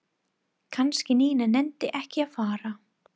Kannski Nína nenni ekki að fara.